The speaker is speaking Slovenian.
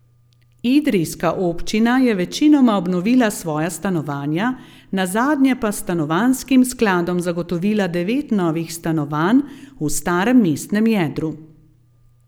Idrijska občina je večinoma obnovila svoja stanovanja, nazadnje pa s stanovanjskim skladom zagotovila devet novih stanovanj v starem mestnem jedru.